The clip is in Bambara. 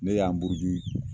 Ne y'an buruju